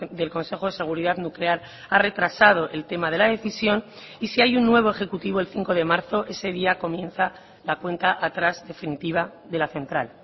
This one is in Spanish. del consejo de seguridad nuclear ha retrasado el tema de la decisión y si hay un nuevo ejecutivo el cinco de marzo ese día comienza la cuenta atrás definitiva de la central